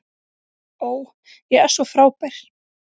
Ó, ég er svo frábær.